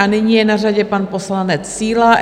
A nyní je na řadě pan poslanec Síla.